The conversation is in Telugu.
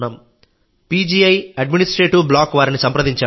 పీజీఐ అడ్మినిస్ట్రేటివ్ బ్లాక్ వారిని సంప్రదించాం